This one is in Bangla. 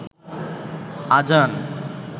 আজান